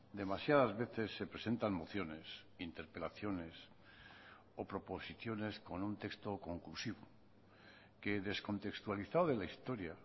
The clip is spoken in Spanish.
demasiadas veces se presentan mociones interpelaciones o proposiciones con un texto conclusivo que descontextualizado de la historia